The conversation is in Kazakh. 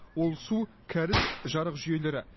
ол су кәріз жарық жүйелері